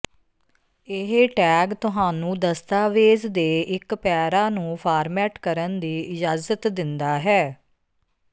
ਇਹ ਟੈਗ ਤੁਹਾਨੂੰ ਦਸਤਾਵੇਜ਼ ਦੇ ਇੱਕ ਪੈਰਾ ਨੂੰ ਫਾਰਮੈਟ ਕਰਨ ਦੀ ਇਜਾਜ਼ਤ ਦਿੰਦਾ ਹੈ